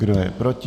Kdo je proti?